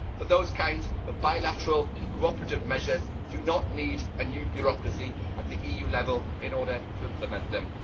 But those kinds of bilateral cooperative measures do not need a new bureaucracy at EU level in order to implement them.